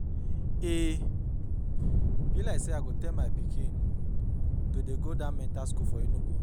E be like say I go tell my pikin to dey go dat mental school for Enugu